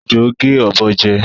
Ejò gé ọ̀bọ jẹ